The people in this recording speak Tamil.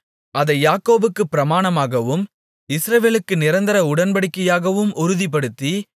அதை யாக்கோபுக்குப் பிரமாணமாகவும் இஸ்ரவேலுக்கு நிரந்தர உடன்படிக்கையாகவும் உறுதிப்படுத்தி